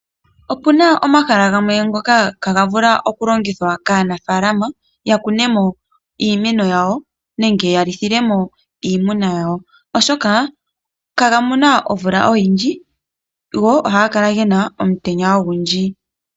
Okuna omahala gamwe ngoka ihagavulu oku longithwa kaanafaalama yakunemo iimeno yawo nenge ya lithilemo iimuna yawo, oshoka iha ga mono omvula oyindji go ohaga kala gena omutenya ogundji.